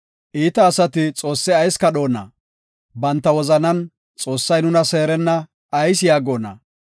Iita asati Xoosse ayis kadhoona? Banta wozanan, “Xoossay nuna seerenna” ayis yaagona?